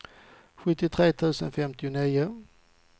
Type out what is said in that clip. sjuttiotre tusen femtionio